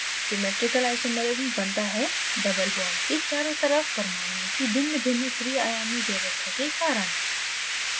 geometrical isomerism बनता है: doublebond के चारों तरफ परमाणुओं की भिन्नभिन्न त्रिआयामी व्यवस्था spatial arrangement के कारण